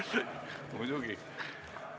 Kohaloleku kontroll Kohal on 87 Riigikogu liiget, puudub 14.